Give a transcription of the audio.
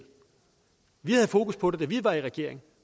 vi havde fokus på det da vi var i regering